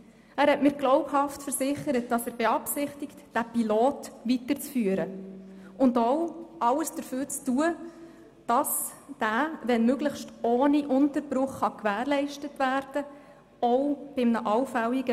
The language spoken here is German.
Er hat mir glaubhaft versichert, dass er beabsichtigt, das Pilotprogramm weiterzuführen und auch alles dafür zu tun, dass es, auch bei einem allfälligen Wechsel des Pilotpartners, wenn möglich ohne Unterbruch gewährleistet werden kann.